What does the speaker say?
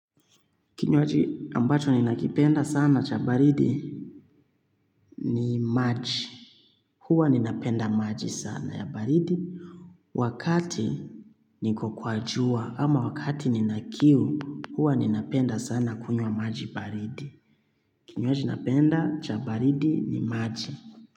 Kinywaji ambacho ni nakipenda sana cha baridi ni maji. Huwa ninapenda maji sana ya baridi. Wakati niko kwa jua ama wakati nina kiu huwa ninapenda sana kunywa maji baridi. Kinyoaji napenda cha baridi ni maji.